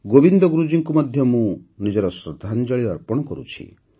ଗୋବିନ୍ଦ ଗୁରୁଜୀଙ୍କୁ ମଧ୍ୟ ମୁଁ ନିଜର ଶ୍ରଦ୍ଧାଞ୍ଜଳି ଅର୍ପଣ କରୁଛି